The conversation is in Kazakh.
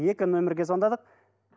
екі номерге звандадық